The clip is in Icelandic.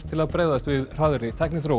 til að bregðast við hraðri tækniþróun